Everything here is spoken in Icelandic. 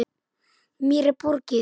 Mér er borgið.